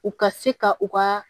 U ka se ka u ka